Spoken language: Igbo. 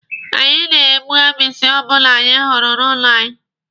Anyị na-egbu agbisi ọbụla anyị hụrụ n'ụlọ anyị